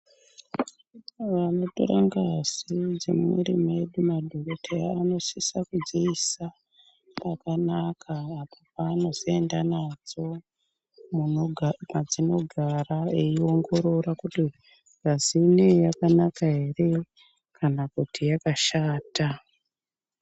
Vanotora ngazi dzemumuviri medu, madhokodheya anosise kudziisa ,pakanaka apo paanozoenda nadzo munogara mwadzinogara eiongorora kuti ,ngazi ineyi yakanaka ere ,kana kuti yakashata.